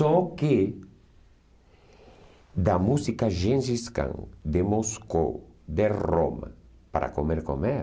Só que da música gengiscã de Moscou, de Roma, para comer, comer,